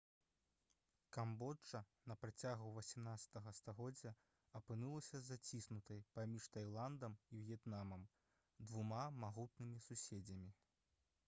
камбоджа на працягу 18 стагоддзя апынулася заціснутай паміж тайландам і в'етнамам двума магутнымі суседзямі